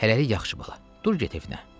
Hələlik yaxşı bala, dur get evinə.